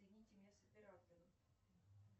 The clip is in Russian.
соедините меня с оператором